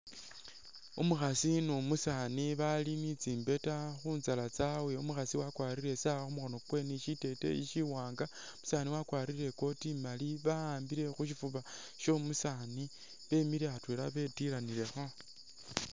Umukhasi ni umusaani bali ni tsimbeta khu nyala tsabwe, umukhaasi wakwarire i'sawa khu mukhono kwe ni shiteteyi shiwaanga, umusaani wakwarire i'coat imali ba'ambile khu shifuba syo'omusaani bemile atwela betilanilekho.